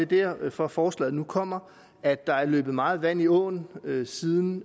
det er derfor forslaget nu kommer at der er løbet meget vand i åen siden